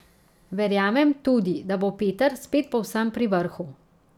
Verjamem tudi, da bo Peter spet povsem pri vrhu.